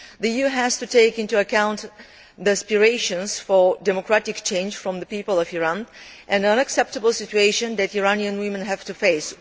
The EU has to take into account the aspirations for democratic change of the people of Iran and the unacceptable situation that Iranian women have to face.